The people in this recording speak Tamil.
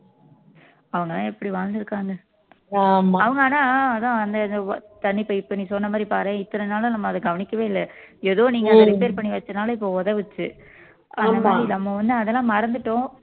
அவனெல்லாம் இப்படி வாழ்ந்திருக்காங்க அவங்க ஆனா அதான் வந்து தண்ணி pipe இப்ப நீ சொன்ன மாதிரி பாரேன் இத்தனை நாளா நம்ம அதை கவனிக்கவே இல்லை ஏதோ நீங்க repair பண்ணி வச்சதுனால இப்ப உதவுச்சு நம்ம வந்து அதெல்லாம் மறந்துட்டோம்